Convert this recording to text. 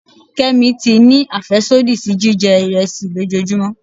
Kemi ti ní afẹsodi sí jijẹ iresi lòjóojúmò